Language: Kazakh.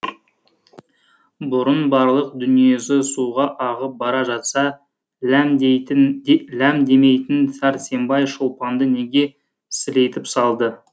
бұрын барлық дүниесі суға ағып бара жатса ләм демейтін сәрсенбай шолпанды неге сілейтіп салды